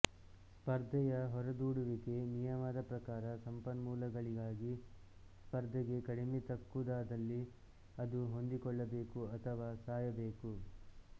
ಸ್ಪರ್ದೆಯ ಹೊರದೂಡುವಿಕೆ ನಿಯಮದ ಪ್ರಕಾರ ಸಂಪನ್ಮೂಲಗಳಿಗಾಗಿ ಸ್ಪರ್ಧೆಗೆ ಕಡಿಮೆ ತಕ್ಕುದಾದಲ್ಲಿ ಅದು ಹೊಂದಿಕೊಳ್ಳ ಬೇಕು ಅಥವಾ ಸಾಯಬೇಕು